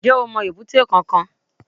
N jẹ́ o mo èbúté kankan